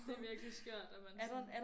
Det virkelig skørt at man sådan